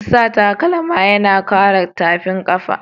Sa takalma yana kare tafin kafa.